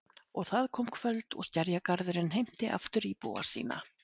Og það kom kvöld og Skerjagarðurinn heimti aftur íbúa sína.